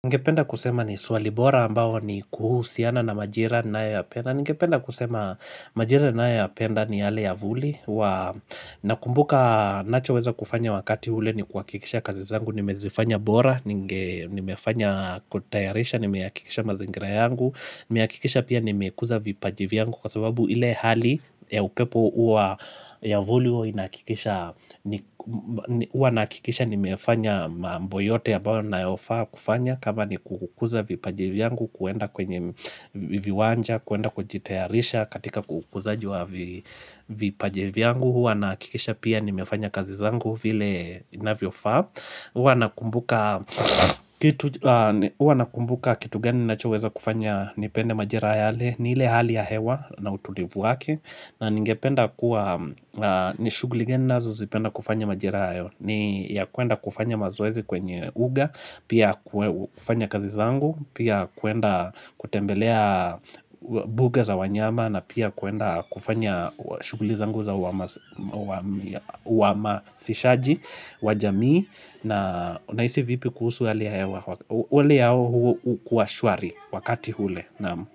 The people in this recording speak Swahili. Ningependa kusema ni swali bora ambao ni kuhusiana na majira ninayo yapenda Ningependa kusema majira ninayo yapenda ni yale ya vuli Nakumbuka ninachoweza kufanya wakati ule ni kuhakikisha kazi zangu Nimezifanya bora, nimefanya kutayarisha, nimehakikisha mazingira yangu Nimehakikisha pia nimekuza vipaji vyangu Kwa sababu ile hali ya upepo huwa ya vuli huwa inahakikisha Huwa nakikisha nimefanya mambo yote ambayo ninayofaa kufanya kama ni kukuza vipaji vyangu kuenda kwenye viwanja kuenda kujitayarisha katika kukuza vipaji vyangu Huwa nahakikisha pia nimefanya kazi zangu vile inavyofaa Huwa nakumbuka kitu gani ninachoweza kufanya nipende majira yale ni ile hali ya hewa na utulivu wake na ningependa kuwa ni shughuli gani ninazo zipenda kufanya majira hayo ni ya kuenda kufanya mazoezi kwenye uga Pia kufanya kazi zangu Pia kuenda kutembelea buga za wanyama na pia kuenda kufanya shughuli zangu za uhamazishaji Wajamii na unahisi vipi kuhusu hali ya hewa hali ya hewa huwa shwari wakati ule Naam.